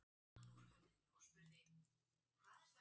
Lilla settist við eldhúsborðið.